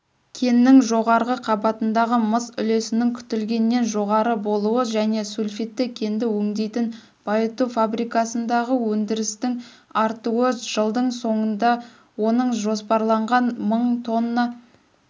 кеннің жоғарғы қабатындағы мыс үлесінің күтілгеннен жоғары болуы және сульфидті кенді өңдейтін байытуфабрикасындағыөндірістіңартуы жылдыңсоңындаоныңжоспарланған мың тонна